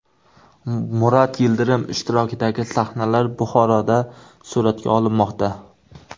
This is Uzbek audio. Murat Yildirim ishtirokidagi sahnalar Buxoroda suratga olinmoqda.